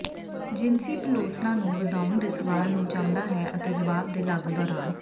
ਜਿਨਸੀ ਪਲੋਸਣਾ ਨੂੰ ਵਧਾਉਣ ਦੇ ਸਵਾਲ ਨੂੰ ਚਾਹੁੰਦਾ ਹੈ ਅਤੇ ਜਵਾਬ ਦੇ ਲਾਗੂ ਦੌਰਾਨ